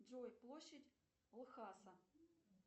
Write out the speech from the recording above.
джой площадь лхаса